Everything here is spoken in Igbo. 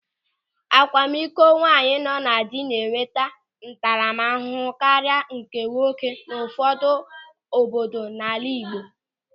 Akwamikọ nwaanyị nọ na dị na-enweta ntaramahụhụ karịa nke ụmụnwoke n'ụfọdụ obodo n'ala Igbo.